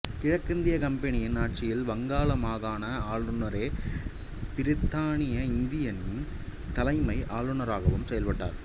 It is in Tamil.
கிழக்கிந்திய கம்பெனியின் ஆட்சியில் வங்காள மாகாண ஆளுநரே பிரித்தானிய இந்தியாவின் தலைமை ஆளுநராகவும் செயல்பட்டார்